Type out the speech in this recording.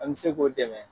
An bɛ se k'o dɛmɛ